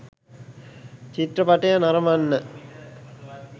චිත්‍රපටය නරඹන්න